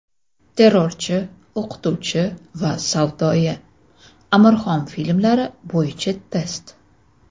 Terrorchi, o‘qituvchi va savdoyi... Amirxon filmlari bo‘yicha test.